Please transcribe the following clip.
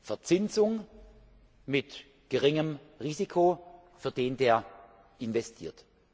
Verzinsung mit geringem Risiko für den, der investiert.